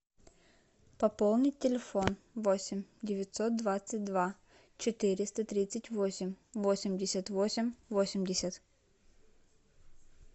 пополнить телефон восемь девятьсот двадцать два четыреста тридцать восемь восемьдесят восемь восемьдесят